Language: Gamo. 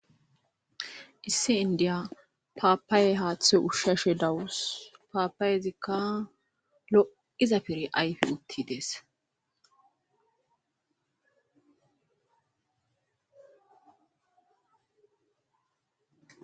Issi indiya papaye haththi ushshashe dawussi papayziaka loo'za pire ayffides